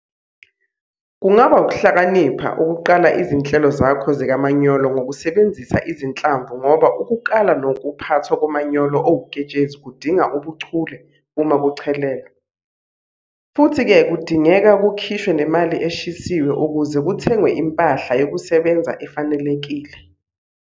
Kungaba ukuhlakanipha ukuqala izinhlelo zakho zikamanyolo ngokusebenzisa izinhlamvu ngoba ukukala nokuphathwa komanyolo owuketshezi kudinga ubuchule uma kuchelelwa, futhi-ke kudingeka kukhishwe nemali eshisiwe ukuze kuthengwe impahla yokusebenza efanelekile.